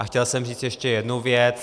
A chtěl jsem říct ještě jednu věc.